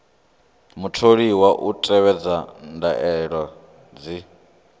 mutholiwa u tevhedza ndaela dzi